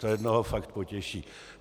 To jednoho fakt potěší.